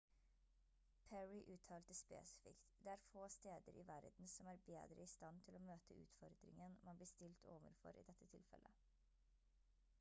perry uttalte spesifikt «det er få steder i verden som er bedre i stand til å møte utfordringen man blir stilt overfor i dette tilfellet»